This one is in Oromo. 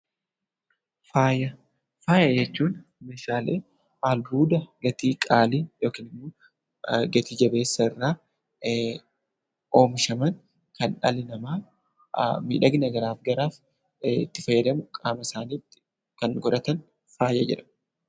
Faaya, faaya jechuun meeshaalee albuuda gatii qaalii yookaan gati-jabeessa irraa oomishaman Kan dhalli namaa miidhagina garaagaraaf itti fayyadamu qaama isaaniitti Kan godhatan faaya jedhama.